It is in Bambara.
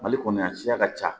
Mali kɔnɔ yan siya ka ca